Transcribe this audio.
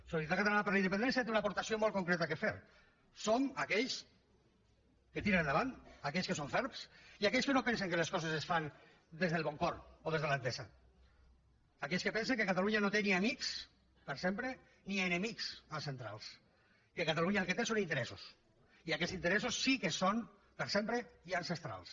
solidaritat catalana per la independència té una aportació molt concreta a fer som aquells que tiren endavant aquells que són ferms i aquells que no pensen que les coses es fan des del bon cor o des de l’entesa aquells que pensen que catalunya no té ni amics per sempre ni enemics ancestrals que catalunya el que té són interessos i aquests interessos sí que són per sempre i ancestrals